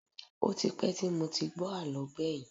Ó ti pẹ́ tí mo ti gbọ́ àlọ́ gbẹ̀yìn